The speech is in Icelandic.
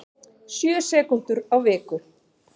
Sjö sekúndur á viku